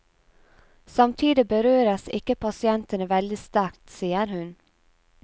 Samtidig berøres ikke pasientene veldig sterkt, sier hun.